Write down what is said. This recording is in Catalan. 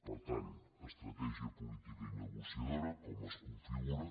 per tant estratègia política i negociadora com es configura